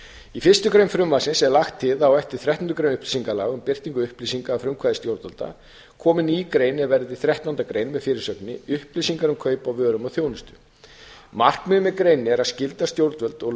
í fyrstu grein frumvarpsins er lagt til að á eftir þrettándu grein upplýsingalaga um birtingu upplýsinga að frumkvæði stjórnvalda komi ný grein er verði þrettándu grein a með fyrirsögninni upplýsingar um kaup á vörum og þjónustu markmiðið með greininni er að skylda stjórnvöld og